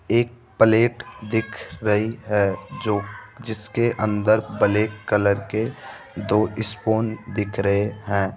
एक प्लेट दिख रही है जो जिसके अंदर ब्लैक कलर के दो स्पून दिख रहे हैं